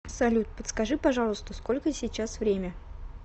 салют подскажи пожалуйста сколько сейчас время